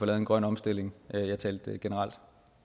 en grøn omstilling jeg talte generelt